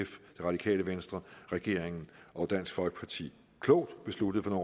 radikale venstre regeringen og dansk folkeparti klogt besluttede for